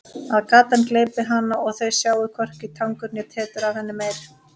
Að gatan gleypi hana og þau sjái hvorki tangur né tetur af henni meir.